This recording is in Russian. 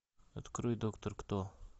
открой доктор кто